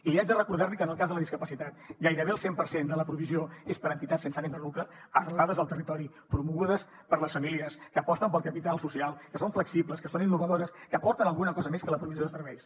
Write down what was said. i li haig de recordar que en el cas de la discapacitat gairebé el cent per cent de la provisió és per entitats sense ànim de lucre arrelades al territori promogudes per les famílies que aposten pel capital social que són flexibles que són innovadores que aporten alguna cosa més que la provisió de serveis